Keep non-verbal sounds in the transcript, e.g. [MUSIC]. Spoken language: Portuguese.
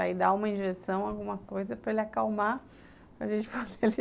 Aí dá uma injeção, alguma coisa para ele acalmar para gente [LAUGHS] [UNINTELLIGIBLE]